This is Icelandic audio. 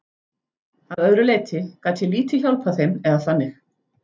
Að öðru leyti gat ég lítið hjálpað þeim eða þannig.